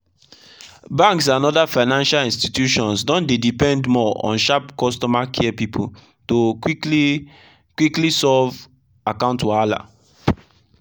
banks and other financial institutions don dey depend more on sharp customer care people to quickly quickly solve account wahala.